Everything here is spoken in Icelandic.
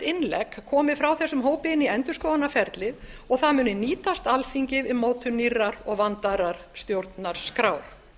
innlegg komi frá þessum hópi inn í endurskoðunarferlið og það muni nýtast alþingi við mótun nýrrar og vandaðrar stjórnarskrár